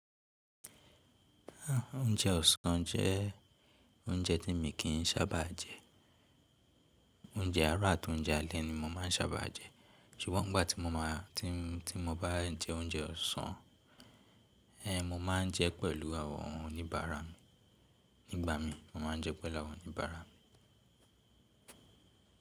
Oúnjẹ ọ̀sán jẹ́ oúnjẹ tí mi kì í sábà jẹ. Oúnjẹ àárọ̀ àti oúnjẹ alẹ́ ni mo máà ń sábà jẹ. Ṣùgbọ́n ìgbà tí mo má a tí, tí mo bá jẹ oúnjẹ ọ̀sán, ẹ́ n mo máa ń jẹ pẹ̀lú àwọn oníbàárà mi. Nígbà mi, mo máa ń jẹ pẹ̀lú àwọn oníbàárà mi.